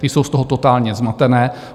Ty jsou z toho totálně zmatené.